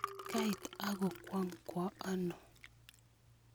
Kaita ng'wong' kwano?